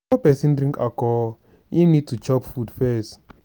person drink alcohol im need to chop food first